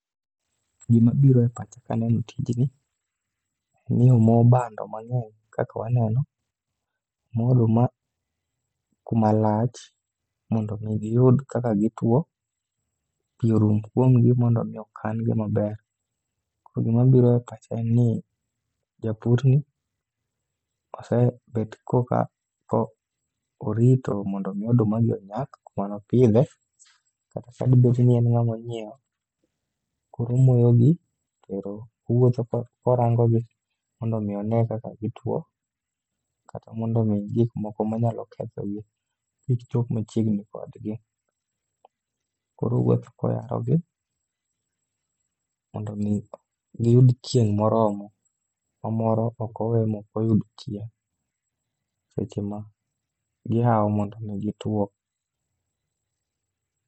Gima biro e pacha kaneno tijni, ni omo bando mang'eny kaka waneno. Mo oduma kuma lach, mondo mi giyud kaka gitwo pi orum kuomgi mondo mi okan gi maber. Koro gima biro e pacha en ni japurni kosebet korka orito mondo mi oduma gi onyak kumano pidhe. Kata sani bed ni en ng'amo nyiewo, korumoyogi, toero owuotho korangogi. Mondo mi one kaka gitwo, kata mondo mi gik moko manyalo kethodgi kik chop machiegni kodgi. Koro owuotho koyarogi, mondo mi giyud chieng' moromo ma moro okowe mokoyudo chieng', seche ma gihao mondo mi gituo.